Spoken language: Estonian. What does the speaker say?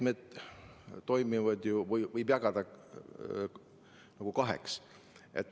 Meetmed võib jagada kaheks.